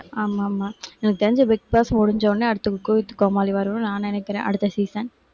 ஆமாமா. எனக்குத் தெரிஞ்சு பிக் பாஸ் முடிஞ்சவுடனே, அடுத்து cook with கோமாளி வரும்னு நான் நினைக்கிறேன் அடுத்த season